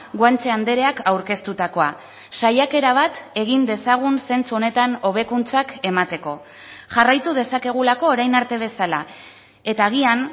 guanche andreak aurkeztutakoa saiakera bat egin dezagun zentzu honetan hobekuntzak emateko jarraitu dezakegulako orain arte bezala eta agian